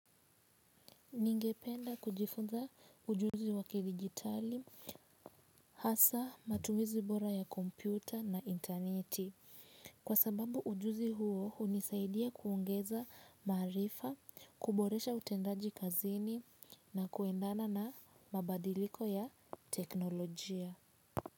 Ningependa kujifunza ujuzi waki digitali, hasa matumizi bora ya kompyuta na interneti. Kwa sababu ujuzi huo hunisaidia kuongeza marifa, kuboresha utendaji kazini na kuendana na mabadiliko ya teknolojia.